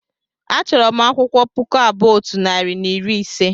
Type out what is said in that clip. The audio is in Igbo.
achọrọ m akwụkwọ puku abụọ otu narị na iri ise